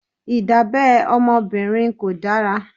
Ìdábẹ́ ọmọbìnrin kò dára.